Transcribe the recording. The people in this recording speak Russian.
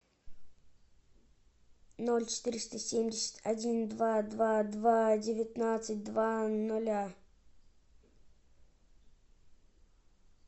ноль четыреста семьдесят один два два два девятнадцать два нуля